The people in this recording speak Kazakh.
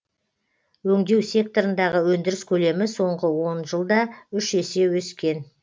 өңдеу секторындағы өндіріс көлемі соңғы он жылда үш есе өскен